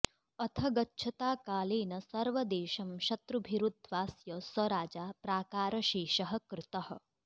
अथ गच्छता कालेन सर्वदेशं शत्रुभिरुद्वास्य स राजा प्राकारशेषः कृतः